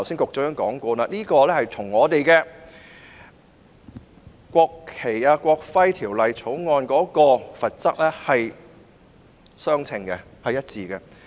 局長剛才已指出，有關罰則與《國旗及國徽條例》的罰則是一致的。